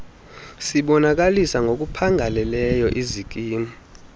sibonakalisa ngokuphangaleleyo izikimu